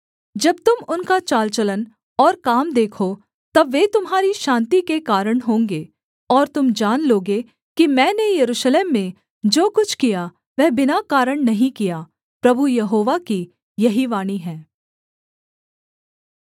जब तुम उनका चाल चलन और काम देखो तब वे तुम्हारी शान्ति के कारण होंगे और तुम जान लोगे कि मैंने यरूशलेम में जो कुछ किया वह बिना कारण नहीं किया प्रभु यहोवा की यही वाणी हैं